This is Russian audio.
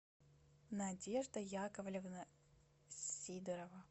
надежда яковлевна сидорова